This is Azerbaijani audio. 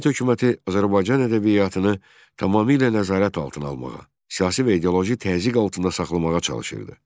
Sovet hökuməti Azərbaycan ədəbiyyatını tamamilə nəzarət altına almağa, siyasi və ideoloji təzyiq altında saxlamağa çalışırdı.